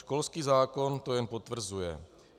Školský zákon to jen potvrzuje.